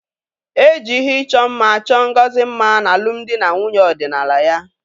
E ji ihe ịchọ mma chọọ Ngozi mma n'alụmdi na nwunye ọdịnala ya.